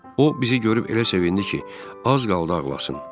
O bizi görüb elə sevindi ki, az qaldı ağlasın.